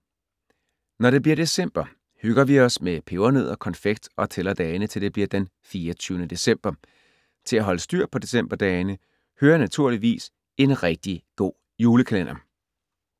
Når det bliver december hygger vi med pebernødder, konfekt og tæller dagene til det bliver den 24. december. Til at holde styr på decemberdagene hører naturligvis en rigtig god julekalender.